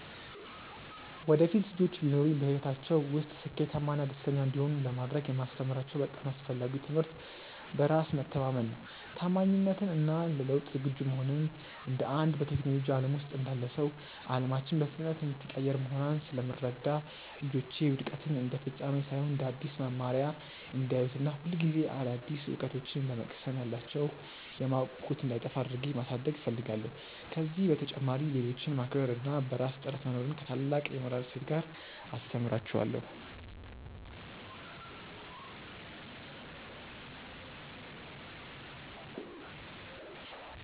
ወደፊት ልጆች ቢኖሩኝ፣ በሕይወታቸው ውስጥ ስኬታማና ደስተኛ እንዲሆኑ ለማድረግ የማስተምራቸው በጣም አስፈላጊው ትምህርት በራስ መተማመንን፣ ታማኝነትን እና ለለውጥ ዝግጁ መሆንን ነው። እንደ አንድ በቴክኖሎጂው ዓለም ውስጥ እንዳለ ሰው፣ ዓለማችን በፍጥነት የምትቀያየር መሆኗን ስለምረዳ፣ ልጆቼ ውድቀትን እንደ ፍጻሜ ሳይሆን እንደ አዲስ መማሪያ እንዲያዩት እና ሁልጊዜ አዳዲስ እውቀቶችን ለመቅሰም ያላቸው የማወቅ ጉጉት እንዳይጠፋ አድርጌ ማሳደግ እፈልጋለሁ። ከዚህ በተጨማሪ፣ ሌሎችን ማክበር እና በራስ ጥረት መኖርን ከታላቅ የሞራል እሴት ጋር አስተምራቸዋለሁ።